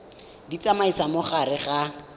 di tsamaisa mo gare ga